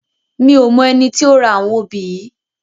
Mi ó mò èni ti ó rá áwòn óbi yi